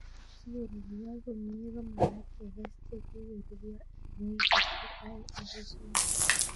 Si korurio komie ko magat kekes che kikorurio eng wikishek aeng agoi somok